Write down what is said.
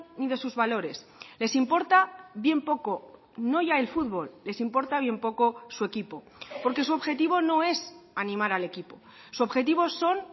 ni de sus valores les importa bien poco no ya el fútbol les importa bien poco su equipo porque su objetivo no es animar al equipo su objetivo son